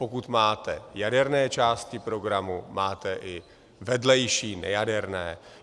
Pokud máte jaderné části programu, máte i vedlejší nejaderné.